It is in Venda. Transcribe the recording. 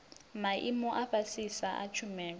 maimo a fhasisa a tshumelo